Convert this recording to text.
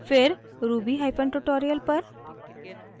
फिर rubytutorial पर